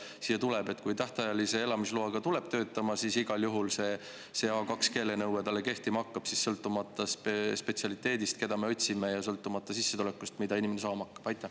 Et kui tähtajalise elamisloaga tuleb siia töötama, siis igal juhul see A2-keelenõue talle kehtima hakkab, sõltumata spetsialiteedist, keda me otsime, ja sõltumata sissetulekust, mida inimene saama hakkab?